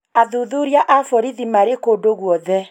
Athuthuria a borithi Marĩ kũndũ guothe.